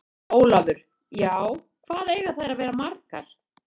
Ólafur: Já. hvað eiga þær að vera margar?